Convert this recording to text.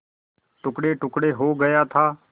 टुकड़ेटुकड़े हो गया था